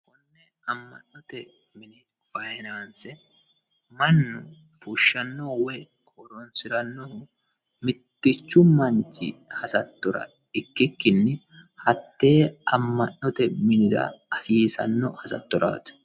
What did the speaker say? konne amma'note mini fayinaanse mannu fushshanno woye koronsi'rannohu mittichu manchi hasattora ikkikkinni hattee amma'note minira hasiisanno hasattoraati